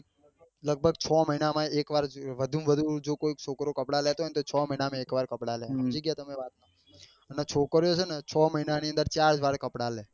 લગભગ છ મહિના માં એક વાર વધુ માં વધુ જો કોઈ છોકરો કપડા લેતો હોય ને તો છ મહિના માં એક વાર કપડા લે સમજી ગયા તમે વાત ને અને છોકરીઓ છે ને છ મહિના માં ચાર વાર કપડા લે.